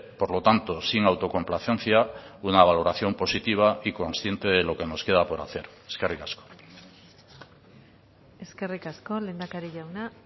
por lo tanto sin autocomplacencia una valoración positiva y consciente de lo que nos queda por hacer eskerrik asko eskerrik asko lehendakari jauna